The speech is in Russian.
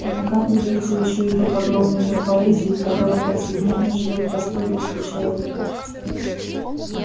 и накапливается ещё и тот огромный мир поэзии в которым повседневно живёт простой русский человек